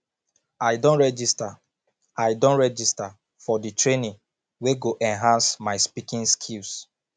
i don register i don register for di training wey go enhance my speaking skills